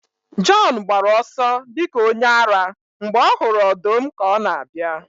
Jọn gbara ọsọ dị ka onye ara mgbe ọ hụrụ ọdụm ka ọ na-abịa